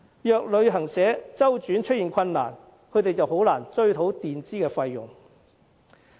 如果旅行社周轉出現困難，導遊便難以追討墊支的費用。